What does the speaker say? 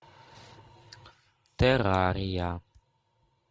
террария